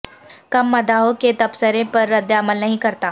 کم مداحوں کے تبصرے پر رد عمل نہیں کرتا